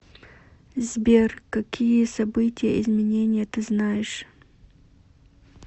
сбер какие событие изменения ты знаешь